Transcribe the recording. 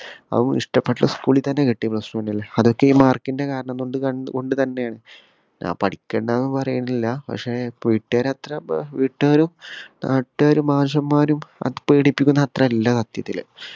അതും ഇഷ്ട്ടപെട്ട school ൽ തന്നെ കിട്ടി plus one ൽ അതൊക്കെ ഈ mark ന്റെ കാരണം കൊണ്ട് തന്നെ കൊണ്ട് തന്നെ ആണ് ഞാൻ പഠിക്കണ്ടാന്നൊന്നും പറേന്നില്ല പക്ഷെ വീട്ടൂകാരെ അത്ര ഏർ വീട്ടുകാരും നാട്ടുകാരും മാഷമ്മാരും അത് പേടിപ്പിക്കുന്ന അത്ര ഇല്ല സത്യത്തില്